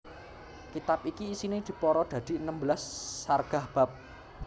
Kitab iki isiné dipara dadi enem belas sargah bab